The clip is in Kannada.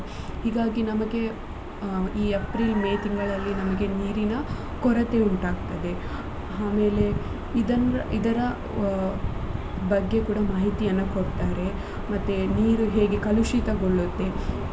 ಹೀಗಾಗಿ ನಮಗೆ ಈ ಏಪ್ರಿಲ್ ಮೇ ತಿಂಗಳಲ್ಲಿ ನಮಗೆ ನೀರಿನ ಕೊರತೆ ಉಂಟಾಗ್ತದೆ ಆಮೇಲೆ ಇದನ್ನ ಇದರ ಅ ಬಗ್ಗೆ ಕೂಡ ಮಾಹಿತಿಯನ್ನ ಕೊಡ್ತಾರೆ, ಮತ್ತೆ ನೀರು ಹೇಗೆ ಕಲುಷಿತಗೊಳುತ್ತೆ.